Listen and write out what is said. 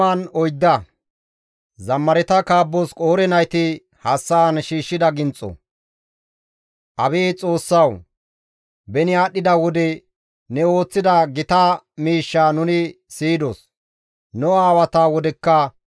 Abeet Xoossawu! Beni aadhdhida wode ne ooththida gita miishshaa nuni siyidos; nu aawata wodekka ne ooththidayssa istti nuus yootida.